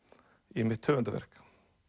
í mitt höfundarverk